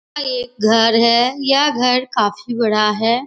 अ एक घर है। यह घर काफी बड़ा है।